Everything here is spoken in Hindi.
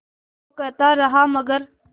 वो कहता रहा मगर